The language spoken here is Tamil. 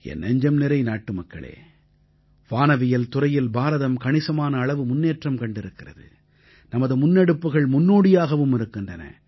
என் நெஞ்சம்நிறை நாட்டுமக்களே வானவியல் துறையில் பாரதம் கணிசமான அளவு முன்னேற்றம் கண்டிருக்கிறது நமது முன்னெடுப்புக்கள் முன்னோடியாகவும் இருக்கின்றன